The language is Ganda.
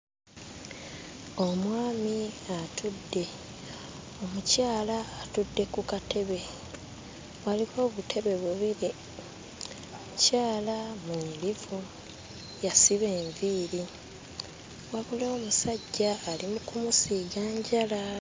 Omwami atudde, omukyala atudde ku katebe, waliko obutebe bubiri. Omukyala mwerufu, yasiba enviiri wabula omusajja ali mu kumusiiga njala.